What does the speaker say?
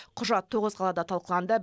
құжат тоғыз қалада талқыланды